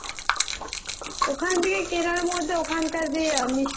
ওখান থেকে তার মধ্যে ওখানকার যে মিষ্টি খাওয়ার